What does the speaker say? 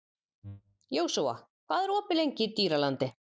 Jósúa, hvað er opið lengi í Dýralandi?